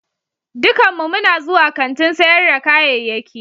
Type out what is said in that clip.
Dukkanmu muna zuwa kantin sayar da kayayyaki